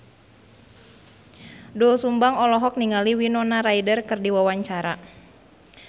Doel Sumbang olohok ningali Winona Ryder keur diwawancara